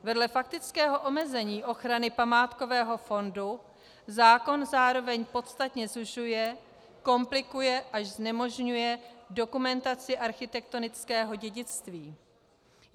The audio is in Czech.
Vedle faktického omezení ochrany památkového fondu zákon zároveň podstatně zužuje, komplikuje, až znemožňuje dokumentaci architektonického dědictví.